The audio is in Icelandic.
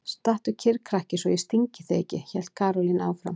Stattu kyrr krakki svo ég stingi þig ekki! hélt Karólína áfram.